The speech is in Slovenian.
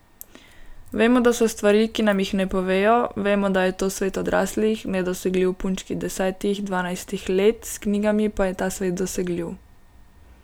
Vemo, da so stvari, ki nam jih ne povejo, vemo, da je to svet odraslih, nedosegljiv punčki desetih, dvanajstih let, s knjigami pa je ta svet dosegljiv.